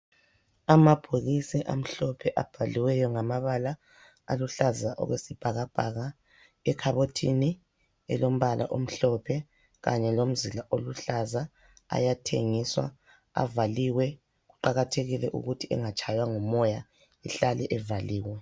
Amabhokisi amhlophe abhaliweyo ngamabala aluhlaza okwesibhakabhaka ekhabothini elombala omhlophe kanye lomzila oluhlaza ayathengiswa, avaliwe kuqakathekile ukuthi engatshaywa ngumoya ehlale evaliwe .